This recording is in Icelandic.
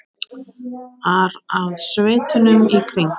ar að sveitunum í kring.